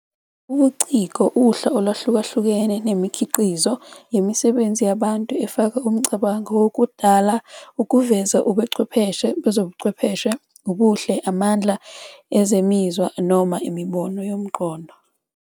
Ubuciko uhla olwahlukahlukene, nemikhiqizo, yemisebenzi yabantu efaka umcabango wokudala ukuveza ubuchwepheshe bezobuchwepheshe, ubuhle, amandla ezemizwa, noma imibono yomqondo.